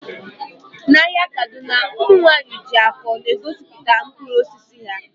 N'ahịa kaduna ụmụ nwanyị ji akọ na-egosipụta mkpụrụ osisi ha